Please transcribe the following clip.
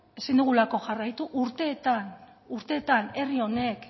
ezin dugulako jarraitu urteetan urteetan herri honek